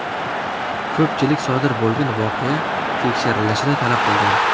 Ko‘pchilik sodir bo‘lgan voqea tekshirilishini talab qilgan.